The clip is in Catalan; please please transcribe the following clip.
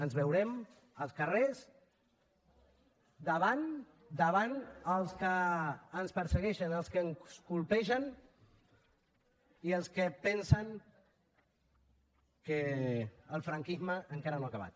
ens veurem als carrers davant els que ens persegueixen els que ens colpegen i els que pensen que el franquisme encara no ha acabat